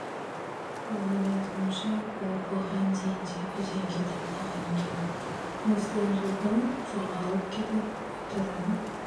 оның айтуынша ол бұған дейін де үйден кетіп қалған екен осыдан жыл бұрын жоғалып кетіп аптадан